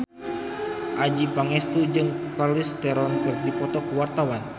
Adjie Pangestu jeung Charlize Theron keur dipoto ku wartawan